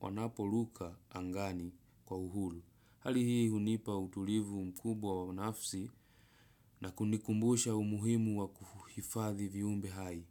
wanaporuka angani kwa uhuru. Hali hii hunipa utulivu mkubwa wa nafsi na kunikumbusha umuhimu wa kuhifadhi viumbe hai.